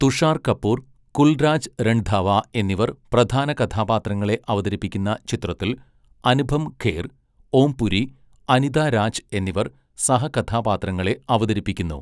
തുഷാർ കപൂർ, കുൽരാജ് രൺധാവ എന്നിവർ പ്രധാന കഥാപാത്രങ്ങളെ അവതരിപ്പിക്കുന്ന ചിത്രത്തിൽ അനുപം ഖേർ, ഓം പുരി, അനിത രാജ് എന്നിവർ സഹകഥാപാത്രങ്ങളെ അവതരിപ്പിക്കുന്നു.